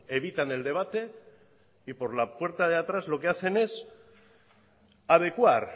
evitan el debate y por la puerta de atrás lo que hacen es adecuar